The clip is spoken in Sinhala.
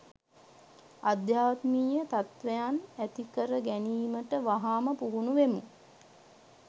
ආධ්‍යාත්මීය තත්ත්වයන් ඇති කර ගැනීමට වහාම පුහුණු වෙමු.